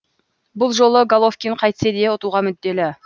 бұл жолы головкин қайтсе де ұтуға мүдделі